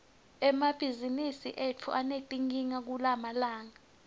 emabhizimisi etfu anetinkinga kulamalanga